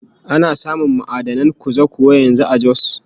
Ana samun ma'adanin kuza kuwa yanzu a Jos?